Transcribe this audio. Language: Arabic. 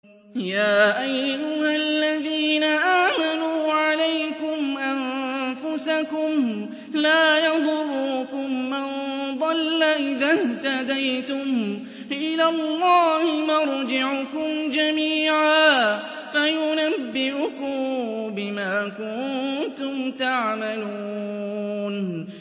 يَا أَيُّهَا الَّذِينَ آمَنُوا عَلَيْكُمْ أَنفُسَكُمْ ۖ لَا يَضُرُّكُم مَّن ضَلَّ إِذَا اهْتَدَيْتُمْ ۚ إِلَى اللَّهِ مَرْجِعُكُمْ جَمِيعًا فَيُنَبِّئُكُم بِمَا كُنتُمْ تَعْمَلُونَ